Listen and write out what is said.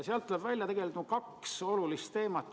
Sealt tuleb välja kaks olulist teemat.